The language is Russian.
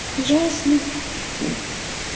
ясно